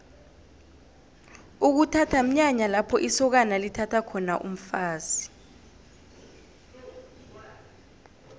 ukuthatha mnyanya lapho isokana lithatha khona umfazi